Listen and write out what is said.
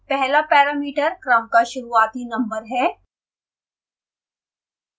पहला parameter क्रम का शुरूआती नम्बर है